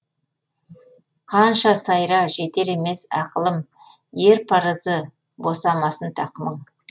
қанша сайра жетер емес ақылым ер парызы босамасын тақымың